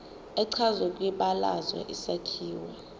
echazwe kwibalazwe isakhiwo